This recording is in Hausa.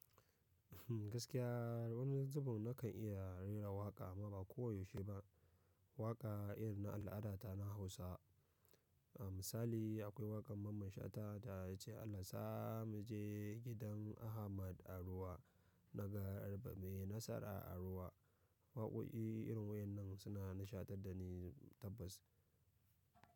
Gaskiya wani zubin nakan iya raira waƙa amma ba ko yaushe ba. Waƙa irin na al'adata na Hausa. A misali akwai wakar mamman shata da yace "Allah yasa muje gidan Ahmad a ruwa, na garba mai nasara a ruwa". Waƙoƙi irin waɗannan suna nishadantar da ni tabbas.